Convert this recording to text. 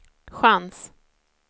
chans